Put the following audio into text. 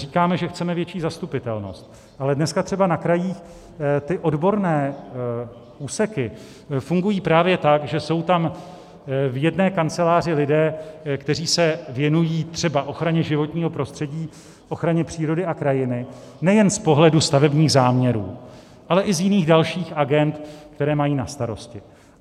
Říkáme, že chceme větší zastupitelnost, ale dneska třeba na krajích ty odborné úseky fungují právě tak, že jsou tam v jedné kanceláři lidé, kteří se věnují třeba ochraně životního prostředí, ochraně přírody a krajiny nejen z pohledu stavebních záměrů, ale i z jiných dalších agend, které mají na starosti.